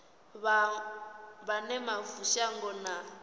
vha wane mavu shango na